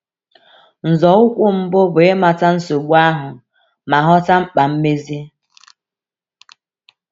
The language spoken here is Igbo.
Nzọụkwụ mbụ bụ ịmata nsogbu ahụ ma ghọta mkpa mmezi.